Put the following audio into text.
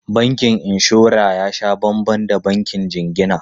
Bankin inshora ya sha banban da bankin jingina.